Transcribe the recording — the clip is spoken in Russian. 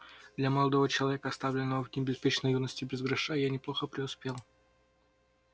для молодого человека оставленного в дни беспечной юности без гроша я неплохо преуспел